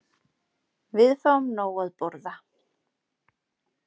Við fáum nóg að borða.